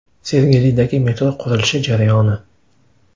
Sergelidagi metro qurilishi jarayoni.